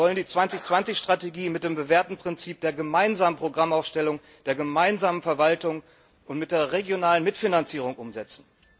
Wir wollen die 2020 Strategie mit dem bewährten Prinzip der gemeinsamen Programmaufstellung, der gemeinsamen Verwaltung und mit der regionalen Mitfinanzierung umsetzen.